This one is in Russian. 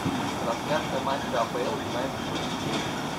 трансляция матча апл юнайтед против челси